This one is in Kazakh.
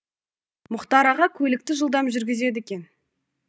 мұхтар аға көлікті жылдам жүргізеді екен